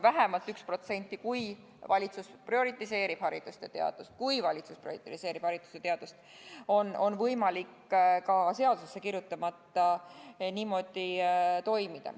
Vähemalt 1%, kui valitsus prioriseerib haridust ja teadust, on võimalik ka seadusesse kirjutamata niimoodi toimima panna.